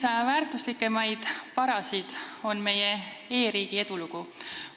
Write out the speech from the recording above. Eesti üks väärtuslikumaid varasid on meie e-riigi edulugu.